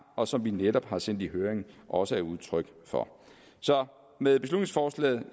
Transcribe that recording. og som vi netop har sendt i høring også er udtryk for med beslutningsforslaget